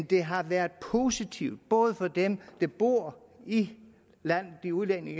det har været positivt både for dem der bor i landet de udlændinge